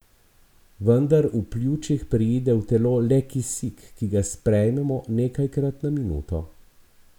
Vendar v pljučih preide v telo le kisik, ki ga sprejmemo nekajkrat na minuto.